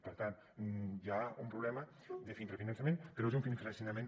per tant hi ha un problema d’infrafinançament però és un infrafinançament